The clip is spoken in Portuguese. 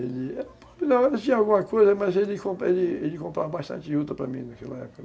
mas ele comprava bastante Juta para mim naquela época.